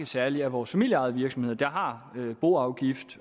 særlig vores familieejede virksomheder har boafgift